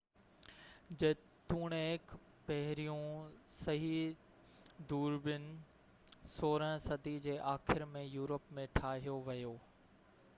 جيتوڻيڪ پهريون صحيح دوربين 16 صدي جي آخر ۾ يورپ ۾ ٺاهيو ويو